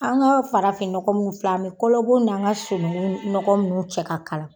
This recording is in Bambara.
An ka farafin nɔgɔ mun filɛ an bi kɔlɔbɔ n'an ka sunukun nɔgɔ minnu cɛ k'a k'ala